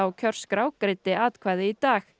kjörskrá greiddi atkvæði í dag